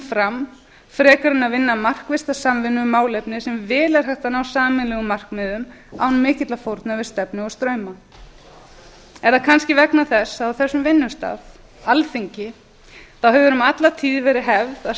fram í stað þess að vinna sameiginlega að málefni sem vel er hægt að ná sameiginlega markmiðum án mikilla fórna við stefnu og strauma er það kannski vegna þess að á þessu vinnustað alþingi hefur um alla tíð verið hefð að